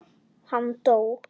Hann dó.